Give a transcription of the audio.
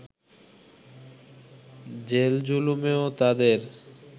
জেল-জুলুমেও তাঁদের